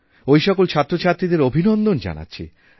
ওইসকল ছাত্রছাত্রীদের অভিনন্দন জানাচ্ছি